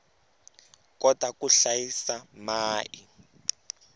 kota ku hlayisa mai